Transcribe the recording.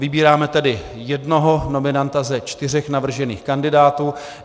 Vybíráme tedy jednoho nominanta ze čtyř navržených kandidátů.